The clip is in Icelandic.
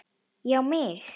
Já mig!